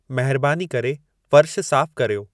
महिरबानी करे फ़र्शु साफ़ु कर्यो